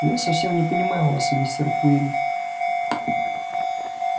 я совсем не понимаю вас мистер куинн